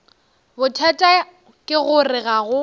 bothata ke gore ga go